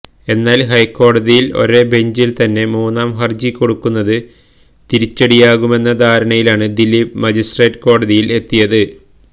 എന്നാൽ ഹൈക്കോടതിയിൽ ഒരേ ബെഞ്ചിൽ തന്നെ മൂന്നാം ഹർജി കൊടുക്കുന്നത് തിരിച്ചടിയാകുമെന്ന ധാരണയിലാണ് ദിലീപ് മജിസ്ട്രേറ്റ് കോടതിയിൽ എത്തിയത്